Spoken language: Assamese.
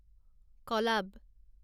কলাব